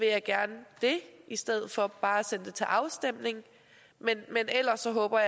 jeg gerne det i stedet for bare at sende det til afstemning men ellers håber